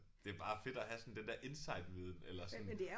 Det bare fedt at have sådan den der insiderviden eller sådan